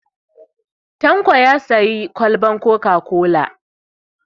Tanko ya sayi kwalban coca-cola.